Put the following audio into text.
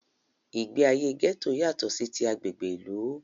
Ìgbé ayé gẹ́tò yátọ̀ sí tí agbègbè ìlú.